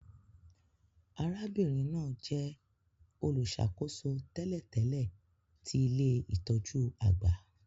Arábìnrin náà jẹ olùṣàkóso tẹ́lẹ̀tẹ́lẹ̀ ti ilé-itọju àgbà